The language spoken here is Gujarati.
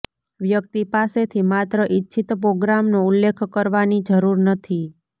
વ્યક્તિ પાસેથી માત્ર ઇચ્છિત પ્રોગ્રામનો ઉલ્લેખ કરવાની જરૂર નથી